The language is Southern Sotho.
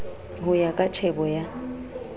ho ya ka tjhebo ya